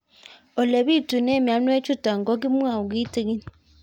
Ole pitune mionwek chutok ko kimwau kitig'ín